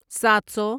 سات سو